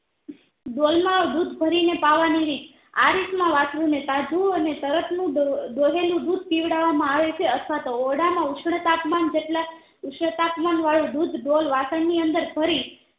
ડોલમાં દુધ ભરી ને પાવા ની રીત આરીત માં વાસ્ર્રુને તાજું અને તરત નું દોહેલુ દૂધ પીવરાવવા માં આવેછે અથવ તો ઓરડામાં ઉષ્નતાપનમાં જેટલા ઉષ્નતાપમાં વાળું દુધ ડોલ વાસણ ની અંદર ભરી